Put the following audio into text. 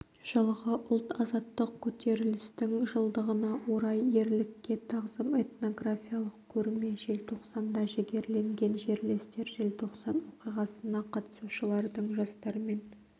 жылғы ұлт-азаттық көтерілістің жылдығына орай ерлікке тағзым этнографиялық көрме желтоқсанда жігерленген жерлестер желтоқсан оқиғасына қатысушылардың жастармен